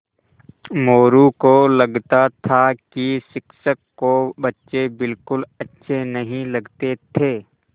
मोरू को लगता था कि शिक्षक को बच्चे बिलकुल अच्छे नहीं लगते थे